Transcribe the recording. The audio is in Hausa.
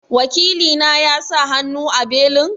Wakili na ya sa hannu a belin?